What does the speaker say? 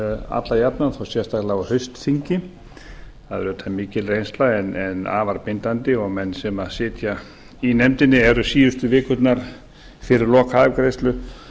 alla jafna þó sérstaklega á haustþingi það er auðvitað mikil reynsla en afar bindandi og menn sem sitja í nefndinni eru síðustu vikurnar fyrir lokaafgreiðslu